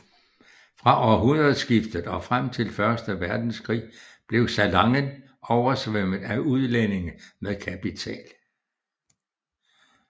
Fra århundredskiftet og frem til første verdenskrig blev Salangen oversvømmet af udlændinge med kapital